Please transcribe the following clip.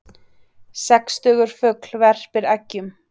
Sextugur fugl verpir eggjum